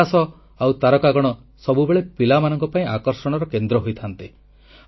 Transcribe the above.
ଆକାଶ ଆଉ ତାରକାଗଣ ସବୁବେଳେ ପିଲାମାନଙ୍କ ପାଇଁ ଆକର୍ଷଣର କେନ୍ଦ୍ର ହୋଇଥାନ୍ତି